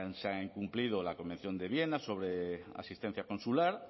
se ha incumplido la convención de viena sobre asistencia consular